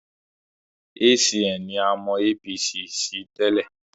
ACN ni a mọ APC sí tẹ́lẹ̀